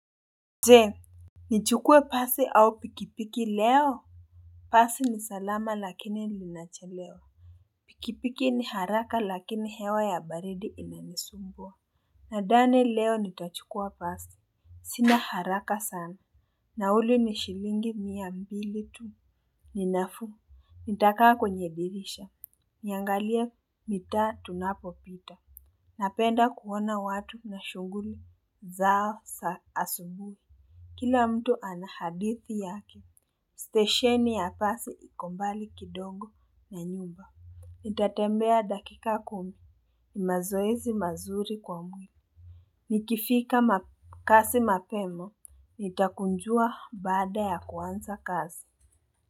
Je, nichukue basi au pikipiki leo? Basi ni salama lakini linachelewa. Pikipiki ni haraka lakini hewa ya baridi inanisumbua. Nadhani leo nitachukua basi. Sina haraka sana. Nauli ni shilingi mia mbili tu. Ni nafuu, nitakaa kwenye dirisha, niangalie mitaa tunapopita. Napenda kuona watu na shughuli zao za asubuhi. Kila mtu ana hadithi yake, stesheni ya basi iko mbali kidogo na nyumba. Nitatembea dakika kumi. Ni mazoezi mazuri kwa mwili. Nikifika kazini mapema, nitakunjua baada ya kuanza kazi.